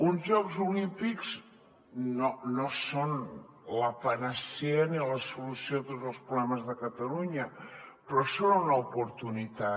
uns jocs olímpics no són la panacea ni la solució a tots els problemes de catalunya però són una oportunitat